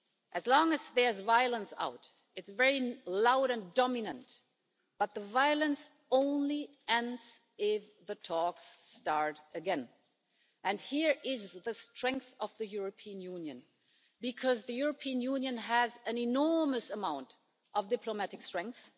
As long as there's violence taking place, it's very loud and dominant, but the violence only ends if the talks start again. Here is the strength of the European Union because the European Union has an enormous amount of diplomatic strength.